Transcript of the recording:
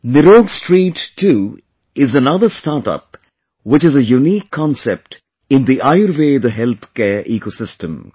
NirogStreet too is another startup which is a unique concept in the Ayurveda Healthcare Ecosystem